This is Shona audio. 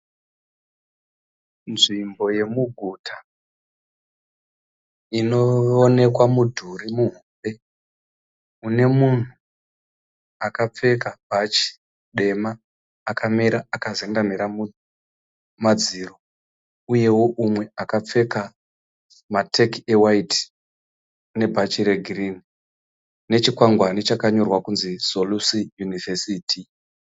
Nzvimbo yemuguta inoonekwa mudhuri muhombe, une munhu akapfeka bhachi dema akamira akazendamira madziro, uyewo mumwe akapfeka mateki ewaiti nebhachi regirini, nechikwangwani yakanyorwa kunzi "Solusi University."